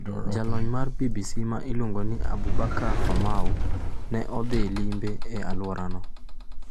Jalony mar BBC ma iluongo ni Aboubakar Famau ne odhi limbe e alworano.